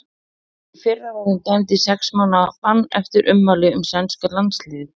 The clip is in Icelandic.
Í fyrra var hún dæmd í sex mánaða bann eftir ummæli um sænska landsliðið.